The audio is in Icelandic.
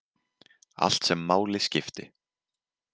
Allt sem máli skipti.